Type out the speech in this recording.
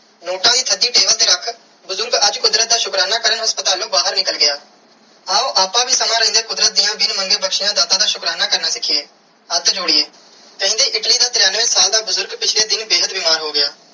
Note ਤੁਹਾਡੀ ਦਿਲ ਤੇ ਰੱਖ ਬੁਜ਼ਰਗ ਅੱਜ ਕੁਦਰਤ ਸ਼ੁਕਰਾਨਾ ਕਾਰਨ ਹਾਸਪ੍ਤਾਲੂ ਬਾਹਿਰ ਨਿਕਲ ਗਿਆ ਆਓ ਆਪ ਵੀ ਸਮੇ ਰੈਂਡੀਆ ਕੁਦਰਤ ਦੀਆ ਬਿਨ ਮੰਗੇ ਬਖਸ਼ਿਆ ਦਾ ਸ਼ੁਕਰਾਨਾ ਕਰਨਾ ਸਿਖੀਏ ਹੱਥ ਜੋਰਯੀ ਕੈਂਦੀ ਇਟਲੀ ਦਾ ਤਾਰੀਆਂਵੇ ਸਾਲ ਦਾ ਬੁਜ਼ਰਗ ਪਿਛਲੇ ਦਿਨ ਬੇਹੱਦ ਬਿਮਾਰ ਹੋ ਗਿਆ.